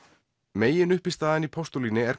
meginuppistaðan í postulíni er